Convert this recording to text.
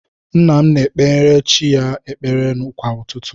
Nna m na-ekpegara chi ya ekpere kwa ụtụtụ.